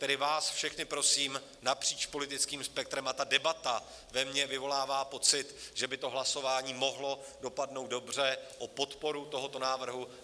Tedy vás všechny prosím napříč politickým spektrem - a ta debata ve mně vyvolává pocit, že by to hlasování mohlo dopadnout dobře - o podporu tohoto návrhu.